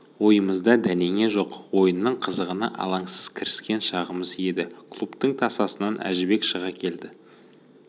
ойымызда дәнеңе жоқ ойынның қызығына алаңсыз кіріскен шағымыз еді клубтың тасасынан әжібек шыға келді